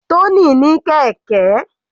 Tony ní kẹ̀kẹ́.